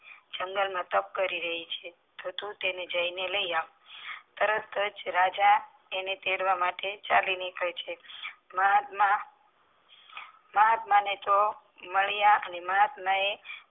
જંગલ માં તાપ કરી રહી છે તો તું તેને જાય ને લઈ આવ તરત જ રાજા એને તેડવા માટે ચાલી નીકળે છે મહાત્મા મહાત્મા ને તો નારી આખે